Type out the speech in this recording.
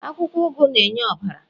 akwukwo ugu na-enye ọbara